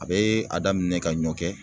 A bɛ a daminɛ ka ɲɔkɛ